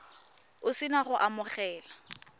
o se na go amogela